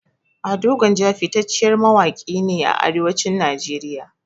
Ado gwanja fitacciyar mawaƙi ne a arewacin nigeria